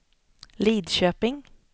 Lidköping